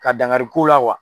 Ka dankari k'u la